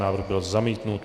Návrh byl zamítnut.